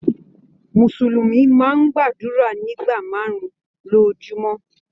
Musulumi máa n gbàdúrà nígbà máàrún-un lojúmọ́.